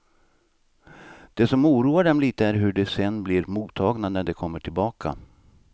Det som oroar dem lite är hur de sen blir mottagna när de kommer tillbaka.